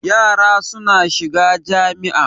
Yara suna shiga jami'a.